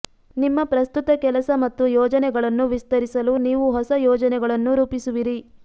ನಿಮ್ಮ ಪ್ರಸ್ತುತ ಕೆಲಸ ಮತ್ತು ಯೋಜನೆಗಳನ್ನು ವಿಸ್ತರಿಸಲು ನೀವು ಹೊಸ ಯೋಜನೆಗಳನ್ನು ರೂಪಿಸುವಿರಿ